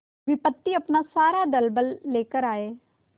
विपत्ति अपना सारा दलबल लेकर आए